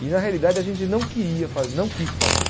E na realidade a gente não queria fa não quis fazer.